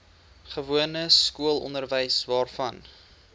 gewone skoolonderwys waarvan